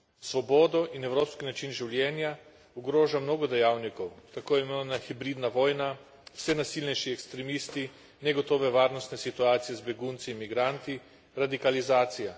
Svobodo in evropski način življenja ogroža mnogo dejavnikov, tako imenovana hibridna vojna, vse nasilnejši ekstremisti, negotove varnostne situacije z begunci in migranti, radikalizacija.